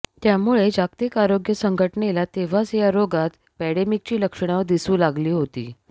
त्यामुळे जागतिक आरोग्य संघटनेला तेव्हाच या रोगात पँडेमिकची लक्षणं दिसू लागली होती